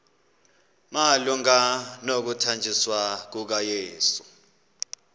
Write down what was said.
malunga nokuthanjiswa kukayesu